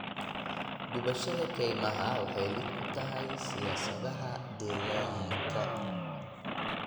Gubashada keymaha waxay lid ku tahay siyaasadaha deegaanka.